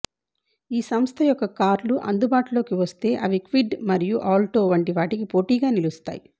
ఈ సంస్థ యొక్క కార్లు అందుబాటులోకి వస్తే అవి క్విడ్ మరియు ఆల్టో వంటి వాటికి పోటీగా నిలుస్తాయి